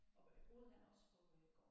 Og boede han også på øh gården?